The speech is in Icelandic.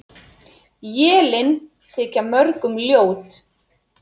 Élin þykja mörgum ljót.